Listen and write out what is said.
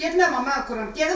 Dedim mənə mama mən quraram.